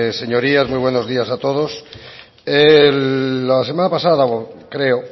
señorías muy buenos días a todos la semana pasada creo